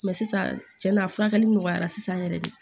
sisan cɛnna a furakɛli nɔgɔyara sisan yɛrɛ de